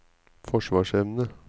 forsvarsevne